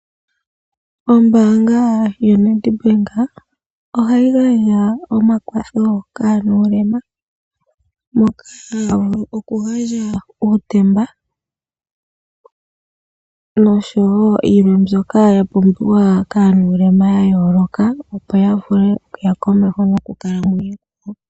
Ombanga yoNedbank ohayi gandja omakwatho kaanulema. Moka haya vulu oku gandja uutemba noshowo yilwe mbyoka ya pumbiwa kaanulema yayoloka opo ya vule okuya komeho moonkalamwenyo dhawo.